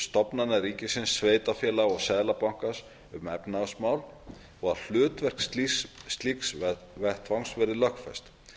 stofnana ríkisins sveitarfélaga og seðlabankans um efnahagsmál og að hlutverk slíks vettvangs verði lögfest